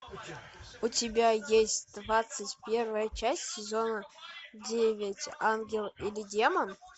у тебя есть двадцать первая часть сезона девять ангел или демон